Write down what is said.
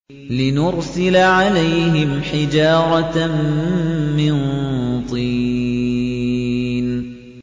لِنُرْسِلَ عَلَيْهِمْ حِجَارَةً مِّن طِينٍ